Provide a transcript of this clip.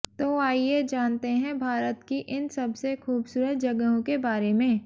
तो आइये जानते है भारत की इन सबसे खूबसूरत जगहों के बारे में